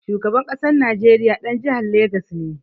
Shugaban ƙasar Najeriya ɗan jihar Legas ne.